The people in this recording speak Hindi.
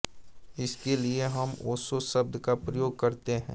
इसके लिए हम ओशो शब्द का प्रयोग करते हैं